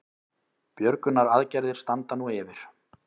Björgunaraðgerðir standa nú yfir